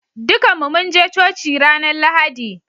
Dukan mu mun je coci ranan Lahadi.